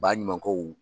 Baɲumankɛw